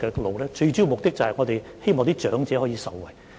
我們最主要的目的是希望長者可以受惠。